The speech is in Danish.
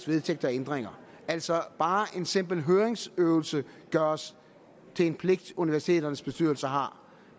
vedtægter og ændringer altså bare en simpel høringsøvelse gøres til en pligt som universiteternes bestyrelser har